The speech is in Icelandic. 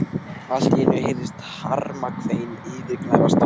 Allt í einu heyrðist harmakvein yfirgnæfa snarkið.